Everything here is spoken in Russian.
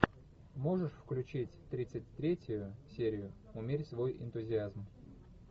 можешь включить тридцать третью серию умерь свой энтузиазм